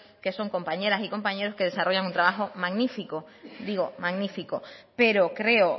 que son compañeras y compañeros que desarrollan un trabajo magnífico digo magnífico pero creo